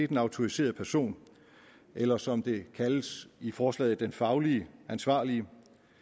den autoriserede person eller som det kaldes i forslaget den fagligt ansvarlige